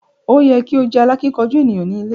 O yẹ ki o jẹ alákínkanjú eniyan ni ilé.